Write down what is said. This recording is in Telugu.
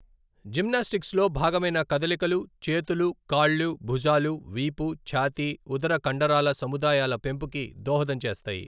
జిమ్నాస్టిక్స్లో భాగమైన కదలికలు, చేతులు, కాళ్ళు, భుజాలు, వీపు, ఛాతీ, ఉదర కండరాల సముదాయాల పెంపుకి దోహదం చేస్తాయి.